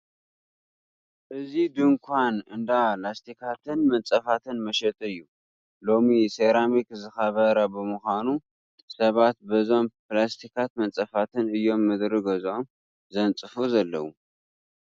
እዚ ድንኳን እንዳ ላስቲካትን መንፀፋትን መሸጢ እዩ፡፡ ሎሚ ሰራሚክ ዝኸበረ ብምዃኑ ሰባት በዞም ላስቲካትን መንፀፋትን እዮም ምድሪ ገዝኦም ዘንፅፉ ዘለዉ፡፡